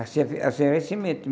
Assim assim era a semente.